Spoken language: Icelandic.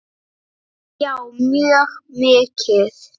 Já, mjög mikið.